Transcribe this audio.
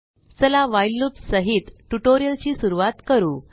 चला व्हाईल loopसहित ट्यूटोरियल ची सुरवात करू